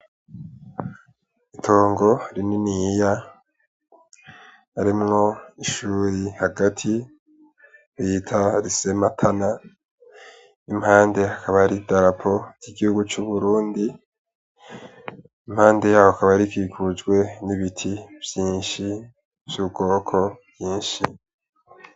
Itongo rininiya harimwo ishuri hagati bita lise matana n' impande hakaba hari idarapo ry'igihugu c'Uburundi impande yaho rikaba rikikujwe n' ibiti vyinshi vy' ubwoko bwinshi.